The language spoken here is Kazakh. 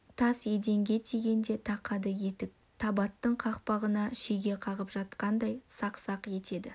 тас еденге тигенде тақады етік табыттың қақпағына шеге қағып жатқандай сақ-сақ етеді